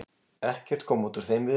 Ekkert kom út úr þeim viðræðum.